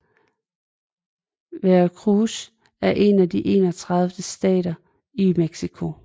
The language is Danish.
Veracruz er en af de 31 stater i Mexico